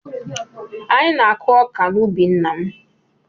Anyị na-akụ ọka n’ubi nna m